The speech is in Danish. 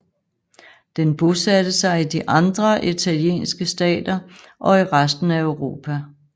Den bosatte sig i de andre italienske stater og i resten af Europa